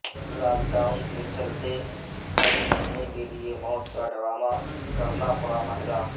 lock down کے چلتے گھر پہنچنے کیلئے موت کا ڈرامہ کرنا مہنگا پڑا